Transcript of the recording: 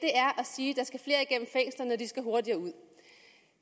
sige at de skal hurtigere ud